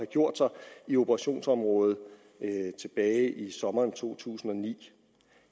gjort sig i operationsområdet tilbage i sommeren to tusind og ni